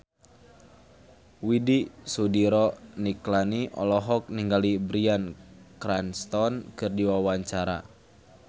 Widy Soediro Nichlany olohok ningali Bryan Cranston keur diwawancara